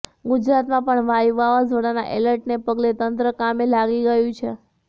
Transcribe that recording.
ગુજરાતમાં પણ વાયુ વાવાઝોડાના એલર્ટને પગલે તંત્ર કામે લાગી ગયું છે